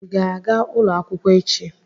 Ị ga-aga ulo akwụkwọ echi?